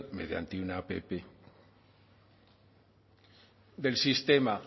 mediante una app del sistema